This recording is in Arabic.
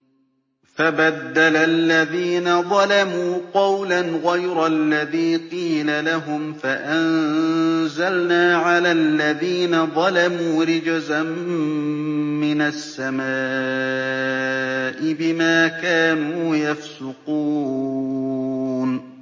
فَبَدَّلَ الَّذِينَ ظَلَمُوا قَوْلًا غَيْرَ الَّذِي قِيلَ لَهُمْ فَأَنزَلْنَا عَلَى الَّذِينَ ظَلَمُوا رِجْزًا مِّنَ السَّمَاءِ بِمَا كَانُوا يَفْسُقُونَ